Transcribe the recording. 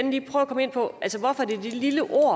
jo